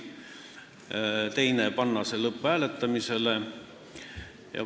Teine ettepanek oli panna see lõpphääletusele.